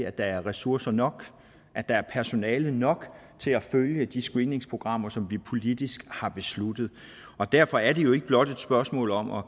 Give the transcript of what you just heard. at der er ressourcer nok at der er personale nok til at følge de screeningsprogrammer som vi politisk har besluttet og derfor er det jo ikke blot et spørgsmål om at